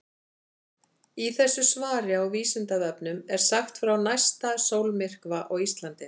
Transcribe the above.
Í þessu svari á Vísindavefnum er sagt frá næsta sólmyrkva á Íslandi.